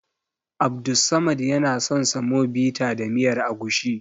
Abdussamad yana son semovita da miyar agushi.